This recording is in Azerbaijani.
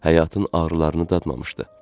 Həyatın ağrılarını dadmamışdı.